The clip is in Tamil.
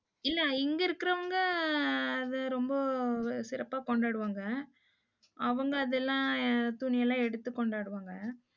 இல்லை இங்கே இருக்கிறவங்க, அது ரொம்ப சிறப்பா கொண்டாடுவாங்க. அவங்க அதெல்லாம், துணி எல்லாம் எடுத்து கொண்டாடுவாங்க.